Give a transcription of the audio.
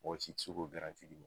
Mɔgɔ si ti se k'o d'i ma.